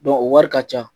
o wari ka ca